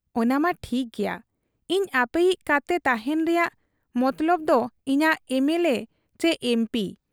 ᱼᱼᱼᱚᱱᱟᱢᱟ ᱴᱷᱤᱠ ᱜᱮᱭᱟ ᱾ ᱤᱧ ᱟᱯᱮᱭᱤᱡ ᱠᱟᱛᱮ ᱛᱟᱦᱮᱸᱱ ᱨᱮᱭᱟᱜ ᱢᱚᱛᱞᱚᱵᱽ ᱫᱚ ᱤᱧᱟᱹᱜ ᱮᱢᱮᱞᱮ ᱪᱤ ᱮᱢᱯᱤ ᱾